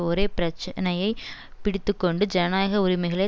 ஒரே பிரச்சனையை பிடித்து கொண்டு ஜனநாயக உரிமைகளை